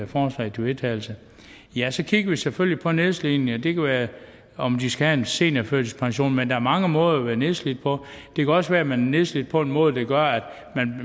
forslaget til vedtagelse ja så kigger vi selvfølgelig på nedslidning det kan være om de skal have en seniorførtidspension men der er mange måder at være nedslidt på det kan også være man er nedslidt på en måde der gør at